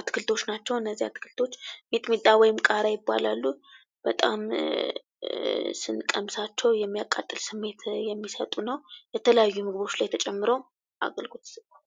አትክልቶች ናቸው እነዚህ አትክልቶች ሚጥሚጣ ወይም ቃሪያ ይባላሉ። እነዚህ በጣም ስንቀምሳቸው የሚያቃጥል ስሜት የሚሰጡ ነው የተለያዩ ምግቦች ላይ ተጨምረው አገልግሎት ይሰጣሉ።